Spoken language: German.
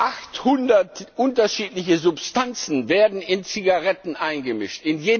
800 unterschiedliche Substanzen werden in Zigaretten eingemischt.